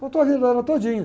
Contou a vida dela todinha.